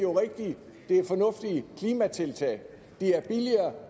det er rigtige og fornuftige klimatiltag